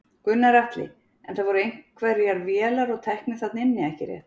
Gunnar Atli: En það voru einhverjar vélar og tæki þarna inni ekki rétt?